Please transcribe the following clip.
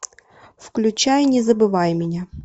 включай не забывай меня